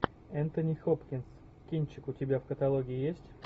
энтони хопкинс кинчик у тебя в каталоге есть